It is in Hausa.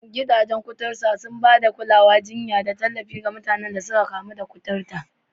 Gidajen kuturta suna ba da kulawar jinya da tallafi ga mutanen da suka kamu da kuturta